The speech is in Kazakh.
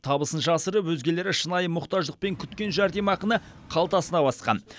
табысын жасырып өзгелері шынайы мұқтаждықпен күткен жәрдемақыны қалтасына басқан